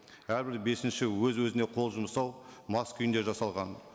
әрбір бесінші өз өзіне қол жұмсау мас күйінде жасалған